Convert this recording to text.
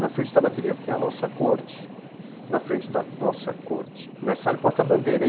Na frente da bateria vinha a nossa corte, na frente da nossa corte, mas sai o porta-bandeira.